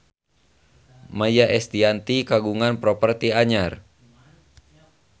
Maia Estianty kagungan properti anyar